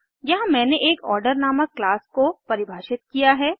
यहाँ मैंने एक आर्डर नामक क्लास को परिभाषित किया है